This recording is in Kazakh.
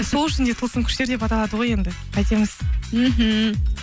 сол үшін де тылсым күштер деп аталады ғой енді қайтеміз мхм